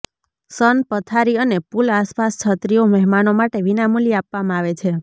સન પથારી અને પૂલ આસપાસ છત્રીઓ મહેમાનો માટે વિના મૂલ્યે આપવામાં આવે છે